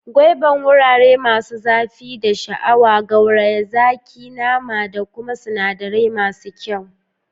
Gwaiban wurare masu zafi da sha'awa, gauraye zaki, nama, da kuma sinadirai masu kyau.